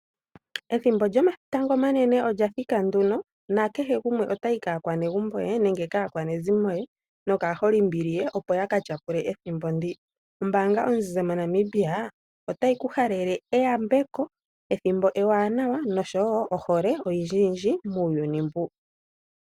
Ethimbo lyomatango omanene olya thika nduno nakehe gumwe otayi kaakwanegumbo ye nenge kaakwanezimo ye nokaholimbili ye opo ya katyapule ethimbo ndika . Ombaanga onzizi moNamibia otayi ku halele eyambako ethimbo ewanawa oshowo ohole oyindjiyindji muuyuni mbu.